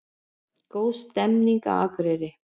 Góð stemning á Akureyri